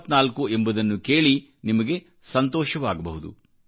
74 ಎಂಬುದನ್ನು ಕೇಳಿ ನಿಮಗೆ ಸಂತೋಷವಾಗಬಹÅದು